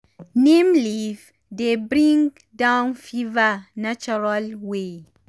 neem leaf dey bring down fever natural way.